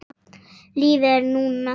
Lífið er núna!